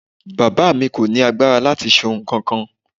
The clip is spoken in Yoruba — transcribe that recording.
Bàbá mi kò ní agbára láti ṣe nǹkankan.